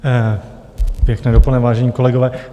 Pěkné dopoledne, vážení kolegové.